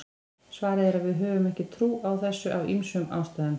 svarið er að við höfum ekki trú á þessu af ýmsum ástæðum